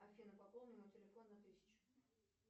афина пополни мой телефон на тысячу